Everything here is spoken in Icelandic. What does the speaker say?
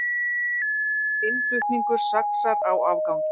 Innflutningur saxar á afganginn